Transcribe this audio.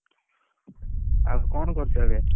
ଆଉ କଣ କରୁଛ ଏବେ?